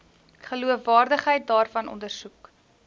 geloofwaardigheid daarvan ondersoek